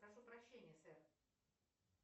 прошу прощения сэр